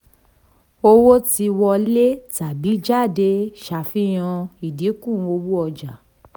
owó tí wọlé tàbí jáde ṣàfihàn ẹ̀dínkù owó ọja.